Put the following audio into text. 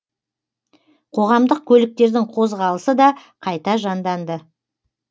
қоғамдық көліктердің қозғалысы да қайта жанданды